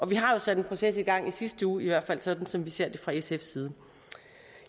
vi har jo sat en proces i gang i sidste uge i hvert fald sådan som vi ser det fra sfs side